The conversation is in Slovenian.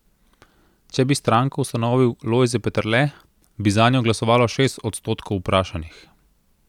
Če bi stranko ustanovil Lojze Peterle, bi zanjo glasovalo šest odstotkov vprašanih.